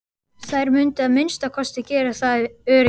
Þær mundu að minnsta kosti gera það ef öryggis